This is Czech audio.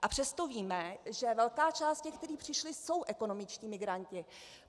A přesto víme, že velká část těch, kteří přišli, jsou ekonomičtí migranti.